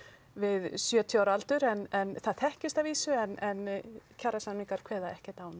við sjötíu ára aldur en það þekkist að vísu en kjarasamningar kveða ekkert á